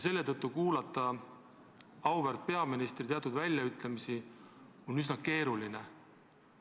Selle tõttu on auväärt peaministri teatud väljaütlemisi kuulata üsna keeruline.